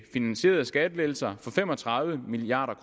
finansierede skattelettelser for fem og tredive milliard